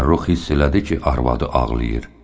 Fəxrrux hiss elədi ki, arvadı ağlayır.